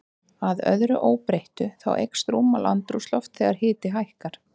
Að öðru óbreyttu, þá eykst rúmmál andrúmslofts þegar hiti hækkar.